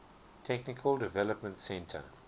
technical development center